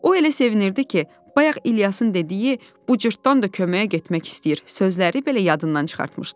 O elə sevinirdi ki, bayaq İlyasın dediyi bu cırtdan da köməyə getmək istəyir sözləri belə yadından çıxartmışdı.